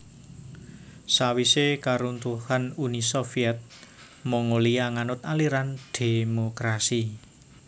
Sawisé karuntuhan Uni Soviet Mongolia nganut aliran dhémokrasi